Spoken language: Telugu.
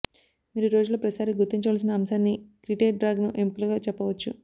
మీరు రోజులో ప్రతిసారీ గుర్తించవలసిన అంశాన్ని క్రిటే డ్రాగన్ ఎముకలుగా చెప్పవచ్చు